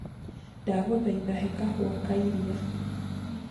ndagũthaĩtha he kahũa kaĩrĩa